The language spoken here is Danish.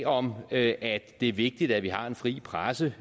om at det er vigtigt at vi har en fri presse